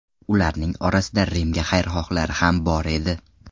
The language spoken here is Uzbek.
Ularning orasida Rimga xayrixohlari ham bor edi.